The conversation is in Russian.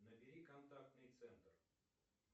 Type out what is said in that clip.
набери контактный центр